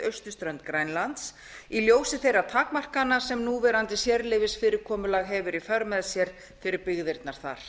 austurströnd grænlands í ljósi þeirra takmarkana sem núverandi sérleyfisfyrirkomulag hefur í för með sér fyrir byggðir þar